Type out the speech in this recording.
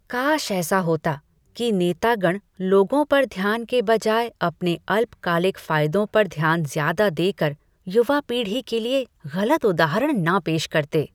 काश ऐसा होता कि नेतागण लोगों पर ध्यान के बजाय अपने अल्पकालिक फायदों पर ध्यान ज्यादा देकर युवा पीढ़ी के लिए गलत उदाहरण न पेश करते।